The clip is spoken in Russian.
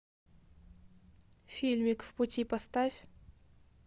фильмик в пути поставь